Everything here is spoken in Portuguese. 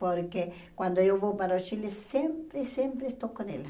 Porque quando eu vou para o Chile, sempre, sempre estou com ela.